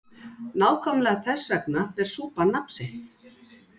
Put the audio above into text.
Nákvæmlega þess vegna ber súpan nafn sitt.